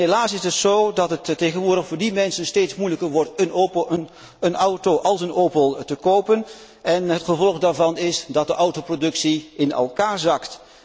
Helaas is het zo dat het tegenwoordig voor die mensen steeds moeilijker wordt een auto als een Opel te kopen en het gevolg daarvan is dat de autoproductie in elkaar zakt.